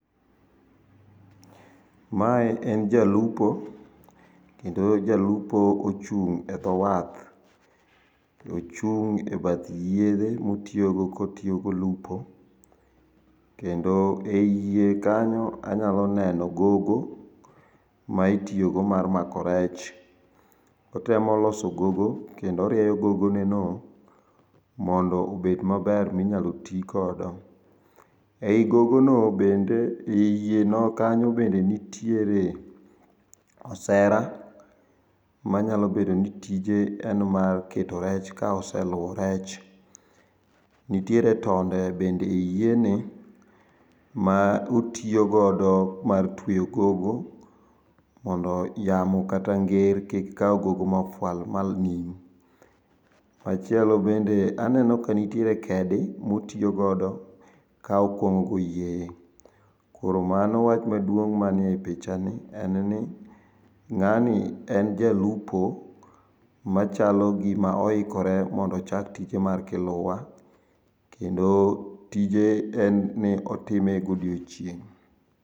Mae en jalupo, kendo jalupo ochung' e dho wath. Ochung' e bath yiedhe motiogo kotiogo lupo, kendo e yie kanyo anyalo neno gogo, maitio mar mako rech. Otemo loso gogo kendo orieyo gogoneno mondo ebed maber minyalo tii kodo. Ei gogo no bende e yie no kanyo bende nitiere osera manyalo bedo ni tije en mar keto rech ka oseluo rech. Nitere tonde bende e yieni. ma otiogodo mar tweyo gogo mondo yamo kata nger kik kau gogo mafwal mal nim. Machielo bende, aneno ka nitiere kedi maotiogodo ka okwang'ogo yie. Koro mano wach maduong' maniei pichani, enni ng'ani en jalupo, machalo gima oikore mondo ochak tije mar kiluwa, kendo tije enni otime godiochieng'.